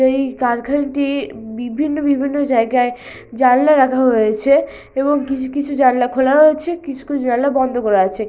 এই কারখানাটি বিভিন্ন বিভিন্ন জায়গায় জানলা রাখা হয়েছে এবং কিছু কিছু জানলা খোলা রয়েছে কিছু কিছু জানলা বন্ধ করা আছে --